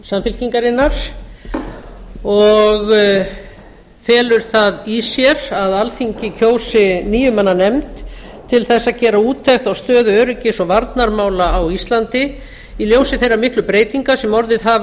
samfylkingarinnar og felur það í sér að alþingi kjósi níu manna nefnd til að gera úttekt á stöðu öryggis og varnarmála á íslandi í ljósi þeirra miklu breytinga sem orðið hafa